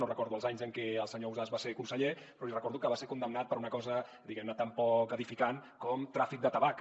no recordo els anys en què el senyor ausàs va ser conseller però li recordo que va ser condemnat per una cosa diguem ne tan poc edificant com tràfic de tabac